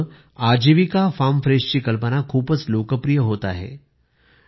तिथे आजीविका फार्म फ्रेशची कल्पना खूप लोकप्रिय होते आहे